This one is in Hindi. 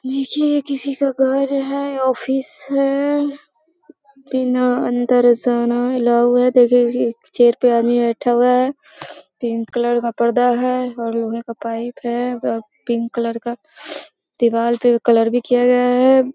नीचे किसी का घर है ऑफिस है। बिना अंदर जाना अलाउ है। चेयर पे आदमी बैठा हुआ है। पिंक कलर का पर्दा है और लोहे का पाइप है और पिंक कलर का का दीवार पर भी कलर भी किया गया है।